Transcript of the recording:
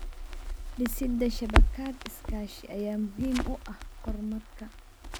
Dhisida shabakad iskaashi ayaa muhiim u ah horumarka.